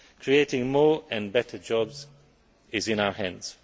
Creating more and better jobs is in our hands.